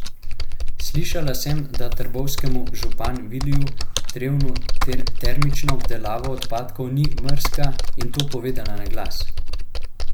Slišala sem, da trboveljskemu župan Viliju Trevnu termična obdelava odpadkov ni mrzka, in to povedala na glas.